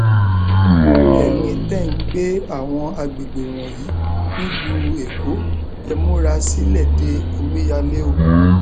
ẹyin tẹ ẹ ń gbé àwọn àgbègbè wọnyí nílùú èkó ẹ múra sílẹ de omíyalé o